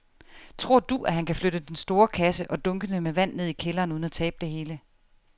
Tror du, at han kan flytte den store kasse og dunkene med vand ned i kælderen uden at tabe det hele?